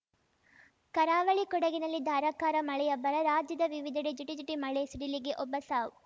ಕರಾವಳಿ ಕೊಡಗಿನಲ್ಲಿ ಧಾರಾಕಾರ ಮಳೆಯಬ್ಬರ ರಾಜ್ಯದ ವಿವಿಧೆಡೆ ಜಿಟಿಜಿಟಿ ಮಳೆ ಸಿಡಿಲಿಗೆ ಒಬ್ಬ ಸಾವು